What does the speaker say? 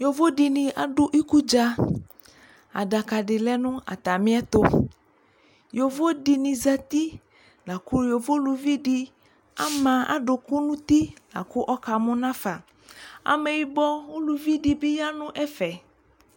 Yovodɩnɩ adʋ ikudza : adakadɩ lɛ nʋ atamɩ ɛtʋ Yovodɩnɩ zati , lakʋ yovo uluvidɩ ama adʋkʋ n'uti lakʋ ɔkamʋ nafa; (amɛyɩbɔ) uluvidɩ bɩ ya nʋ ɛfɛ